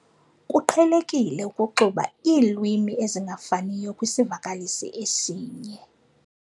Kuqhelekile ukuxuba iilwimi ezingafaniyo kwisivakalisi esinye.